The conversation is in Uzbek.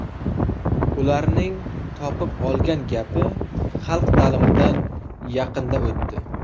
Ularning topib olgan gapi, ‘Xalq ta’limidan yaqinda o‘tdi’.